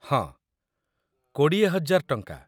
ହଁ, ୨୦୦୦୦/- ଟଙ୍କା।